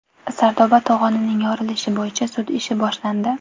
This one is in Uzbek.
Sardoba to‘g‘onining yorilishi bo‘yicha sud ishi boshlandi.